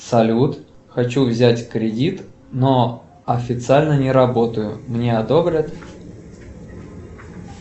салют хочу взять кредит но официально не работаю мне одобрят